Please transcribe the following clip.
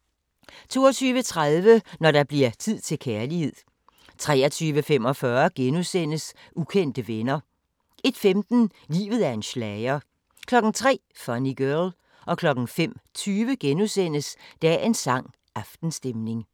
22:30: Når der bliver tid til kærlighed 23:45: Ukendte venner * 01:15: Livet er en schlager 03:00: Funny Girl 05:20: Dagens sang: Aftenstemning *